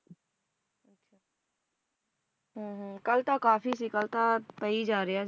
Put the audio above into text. ਹਮ ਹਮ ਕੱਲ ਤਾਂ ਕਾਫੀ ਸੀ ਕੱਲ ਤਾ ਪਈ ਜਾਂ ਰਿਹਾ